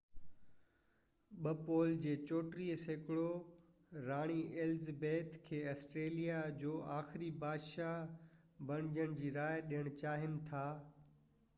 پول جو 34 سيڪڙو راڻي ايلزبيٿ ii کي آسٽريليا جو آخري بادشاهه بڻجڻ جي راءِ ڏين چاهين ٿا